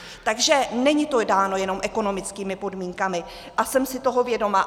Takže není to dáno jenom ekonomickými podmínkami a jsem si toho vědoma.